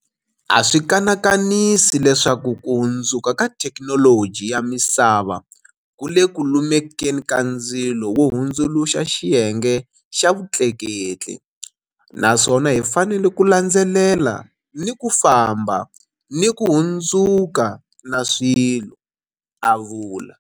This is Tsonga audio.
A swi kanakanisi leswaku ku hundzuka ka thekinoloji ya misava ku le ku lumekeni ka ndzilo wo hundzuluxa xi yenge xa vutleketli, naswona hi fanele ku landzelela ni ku famba ni ku hundzuka na swilo, a vula.